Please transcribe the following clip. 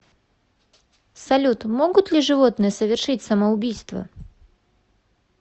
салют могут ли животные совершить самоубийство